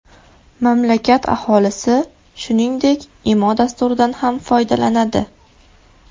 Mamlakat aholisi, shuningdek, Imo dasturidan ham foydalanadi.